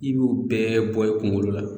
I b'o bɛɛ bɔ i kungolo la